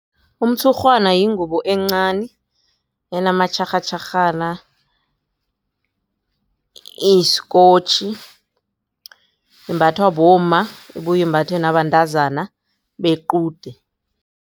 Umtshurhwana yingubo encani enamatjharhatjharhana iyisikotjhi imbathwa bomma ibuye imbathwe nabantazana bequde.